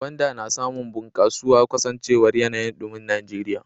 Gwanda na samun bunkasuwa kasancewar yanayin dumin Najeriya.